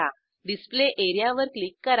display area वर click करा